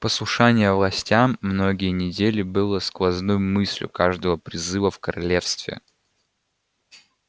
послушание властям многие недели было сквозной мыслью каждого призыва в королевстве